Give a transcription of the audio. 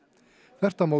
þvert á móti